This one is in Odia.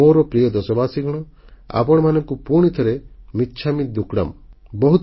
ମୋର ପ୍ରିୟ ଦେଶବାସୀଗଣ ଆପଣମାନଙ୍କୁ ପୁଣିଥରେ ମିଚ୍ଛାମି ଦୁକ୍କଡ଼ମ୍